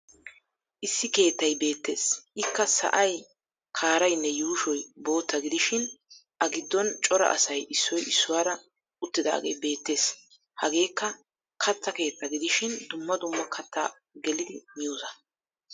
Issi keettay beettes ikka sa'ay, kaaraynne yuushoy bootta gidishin a giddon cora asay issoy issuwaara uttidaagee beettes. Hageekka katta keettaa gidishin dumma dumma katta gelidi miyoosaa.